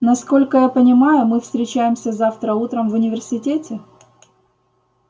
насколько я понимаю мы встречаемся завтра утром в университете